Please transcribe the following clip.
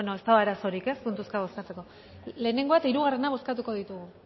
ez dago arazorik puntuka bozkatzeko ezta batgoa eta hirugarrena bozkatuko ditugu